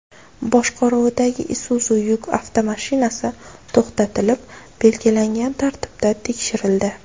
boshqaruvidagi Isuzu yuk avtomashinasi to‘xtatilib belgilangan tartibda tekshirildi.